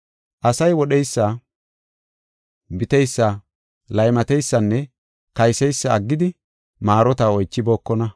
Asay wodheysa, biteysa, laymateysanne kayseysa aggidi maarota oychibookona.